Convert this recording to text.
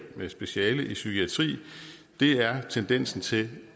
med speciale i psykiatri er tendensen til